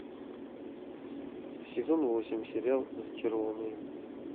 сезон восемь сериал зачарованные